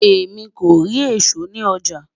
èmi kò rí èsó ní ọjà